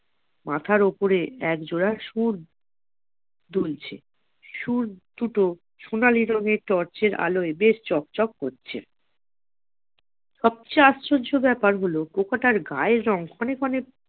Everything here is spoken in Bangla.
মাথার ওপরে এক জোড়া সুর, দুলছে সুর দুটো সোনালী রঙের torch র আলোয় বেশ চক চক করছে সবচেয়ে আশ্চর্য ব্যাপার হল পোকাটার গায়ের রং ক্ষণে ক্ষণে